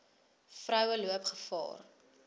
vroue loop gevaar